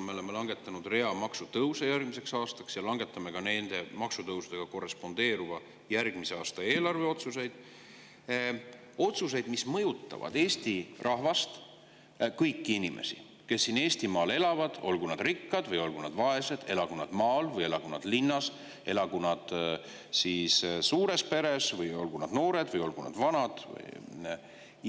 me oleme langetanud rea maksutõusude kohta järgmisel aastal ja langetame ka nende maksutõusudega korrespondeeruvaid otsuseid järgmise aasta eelarve kohta, otsuseid, mis mõjutavad Eesti rahvast, kõiki inimesi, kes siin Eestimaal elavad, olgu nad rikkad või olgu nad vaesed, elagu nad maal või elagu nad linnas, elagu nad suures peres või, olgu nad noored või olgu nad vanad.